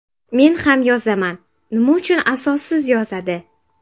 Men ham yozaman, nima uchun asossiz yozadi?